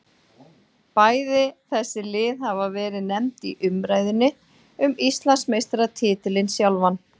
Bæði þessi lið hafa verið nefnd í umræðunni um Íslandsmeistaratitilinn sjálfan.